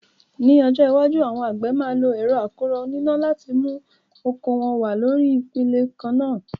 Ní ọjọ́ iwájú, àwọn àgbẹ̀ máa lo ẹ̀rọ akọ́rọ́ oníná láti mú oko wọn wá lórí ipele kan náà.